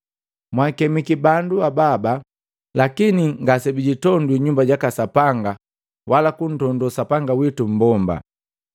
Mwaakemiki bandu hababa lakini ngase bijitondwi nyumba jaka sapanga wala kuntondo sapanga witu mmbomba.